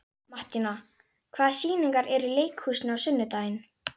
Mattíana, hvaða sýningar eru í leikhúsinu á sunnudaginn?